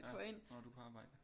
Nå du er på arbejde